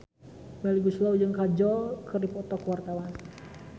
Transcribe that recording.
Melly Goeslaw jeung Kajol keur dipoto ku wartawan